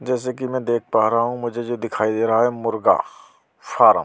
जैसा कि मैं देख पा रहा हूँ मुझे जो दिखाई दे रहा है मुर्गा फार्म ।